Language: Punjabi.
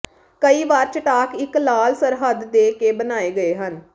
ਕਈ ਵਾਰ ਚਟਾਕ ਇੱਕ ਲਾਲ ਸਰਹੱਦ ਦੇ ਕੇ ਬਣਾਏ ਗਏ ਹਨ